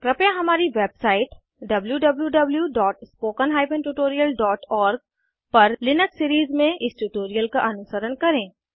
कृपया हमारी वेबसाइट wwwspoken tutorialorg पर लिनक्स सीरीज़ में इस ट्यूटोरियल का अनुसरण करें